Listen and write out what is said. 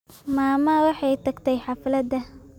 Mama waxay tagtay xaflada